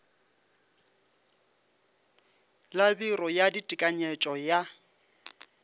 la biro ya ditekanyetšo ya